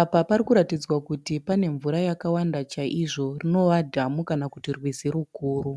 Apa pari kuratidzwa kuti pane mvura yakawanda chaizvo rinova dhamu kana kuti rwizi rukuru.